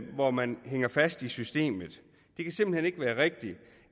hvor man hænger fast i systemet det kan simpelt hen ikke være rigtigt